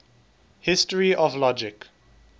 history of logic